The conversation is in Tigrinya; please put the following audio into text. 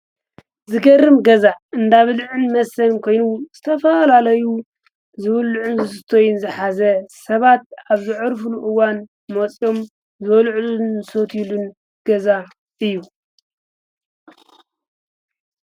ዝገርም ገዛ እንዳብልዕን መሰን ኮይኑ ስተፋላለዩ ዘብሉዕ ን ዘስተይን ዝሓዘ ሰባት ኣብ ዝዕርፍሉኡዋን ሞጺኦም ዘወልዕሉን ሶትዩሉን ገዛ እዩ።